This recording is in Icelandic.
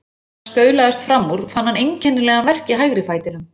Þegar hann staulaðist fram úr fann hann einkennilegan verk í hægri fætinum.